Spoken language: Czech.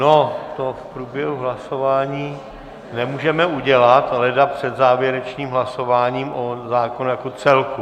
No, to v průběhu hlasování nemůžeme udělat, leda před závěrečným hlasováním o zákonu jako celku.